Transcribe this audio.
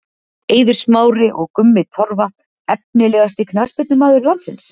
Eiður Smári og Gummi Torfa Efnilegasti knattspyrnumaður landsins?